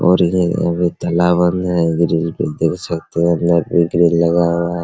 और इधर तालाब आर ने है ग्रिल पे देख सकते है अंदर भी ग्रिल लगा हुआ है ।